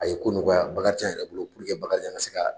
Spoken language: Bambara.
A ye ko nɔgɔya Bakarijan yɛrɛ bolo walasa Bakarijan ka se ka